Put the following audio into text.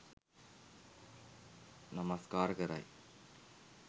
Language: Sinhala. නමස්කාර කරයි.